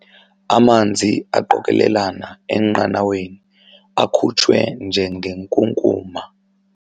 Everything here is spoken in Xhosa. Amanzi aqokelelana enqanaweni akhutshwe njengenkunkuma.